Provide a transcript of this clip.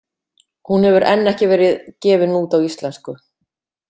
Hún hefur enn ekki verið gefin út á íslensku.